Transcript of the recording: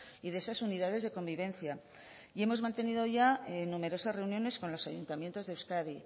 y de esas unidades de convivencia y hemos mantenido ya numerosas reuniones con los ayuntamientos de euskadi y